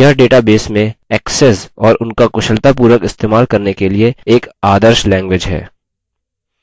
यह databases में access और उनका कुशलतापूर्वक इस्तेमाल करने के लिए एक आदर्श language है